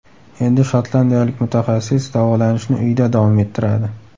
Endi shotlandiyalik mutaxassis davolanishni uyida davom ettiradi.